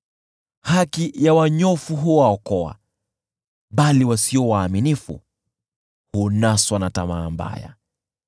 Haki ya wanyofu huwaokoa, bali wasio waaminifu hunaswa na tamaa mbaya.